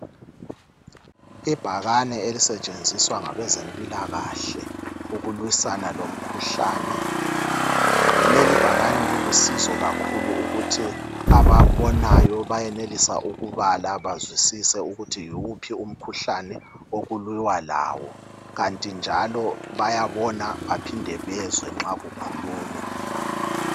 Ibhakane elisetshenziswa ngabezempilakahle ukulwisana lomkhuhlane. Lelibhakane lilusizo kakhulu ukuthi ababonayo bayenelisa ukubala bazwisise ukuthi yiwuphi umkhuhlane okulwiwa lawo kanti njalo bayabona baphinde bezwe nxa kukhulunywa